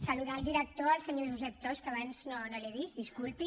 saludar el director el senyor josep tost que abans no l’he vist disculpi